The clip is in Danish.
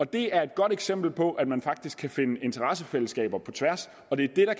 det er et godt eksempel på at man faktisk kan finde interessefællesskaber på tværs og det er det